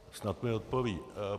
Snad mi odpoví.